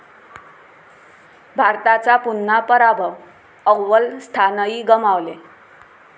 भारताचा पुन्हा पराभव, अव्वल स्थानही गमावले